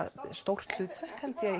stórt hlutverk